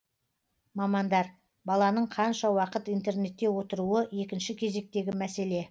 мамандар баланың қанша уақыт интернетте отыруы екінші кезектегі мәселе